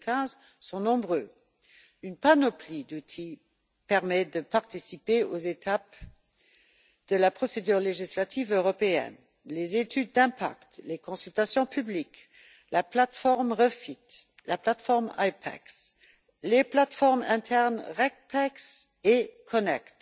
2015. Une panoplie d'outils permet de participer aux étapes de la procédure législative européenne les études d'impact, les consultations publiques, la plateforme REFIT, la plateforme IPEX, les plateformes internes Regpex et Connect,